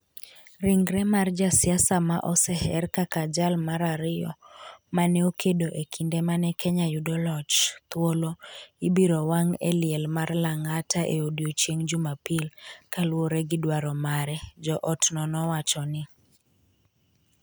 ringre mar jasiasa ma oseher kaka jal mar ariyo ma ne okedo e kinde mane kenya yudo loch, thuolo, ibiro wang’ e liel mar Langata e odiechieng’ Jumapil, kaluwore gi dwaro mare, jo otno nowacho ni.